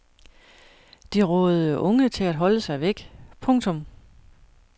De rådede unge til at holde sig væk. punktum